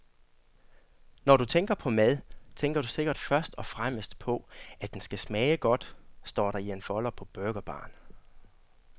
Når du tænker på mad, tænker du sikkert først og fremmest på, at den skal smage godt, står der i en folder på burgerbaren.